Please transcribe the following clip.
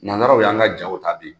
Nansaraw y'an ka jaw tabi.